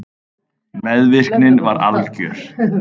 Meðvirknin var algjör.